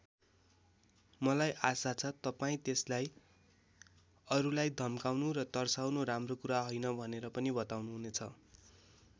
मलाई आशा छ तपाईँ त्यसलाई अरूलाई धम्काउनु र तर्साउनु राम्रो कुरा हैन भनेर पनि बताउनुहुनेछ।